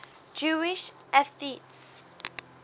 jewish atheists